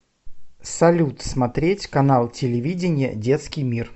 салют смотреть канал телевидения детский мир